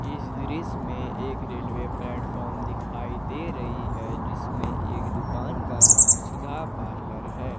इस दृश्य में एक रेलवे प्लेटफार्म दिखाई दे रही है जिसमें एक दुकान का नाम सुधा पार्लर है।